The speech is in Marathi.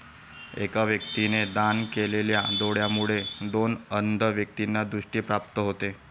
एका व्यक्तीने दान केलेल्या डोळ्यांमुळे दोन अंध व्यक्तींना दृष्टी प्राप्त होते.